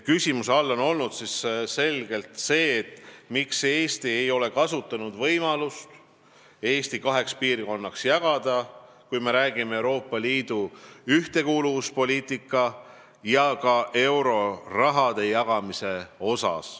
Küsimuse all on selgelt olnud see, miks me ei ole kasutanud võimalust Eestit kaheks piirkonnaks jagada, kui me räägime Euroopa Liidu ühtekuuluvuspoliitikast ja ka eurorahade jagamisest.